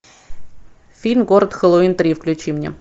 фильм город хэллоуин три включи мне